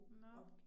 Nåh